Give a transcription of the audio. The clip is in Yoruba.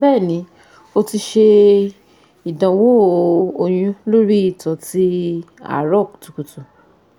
Bẹẹni, o ti ṣe idanwo oyun lori ito ti aro kutukutu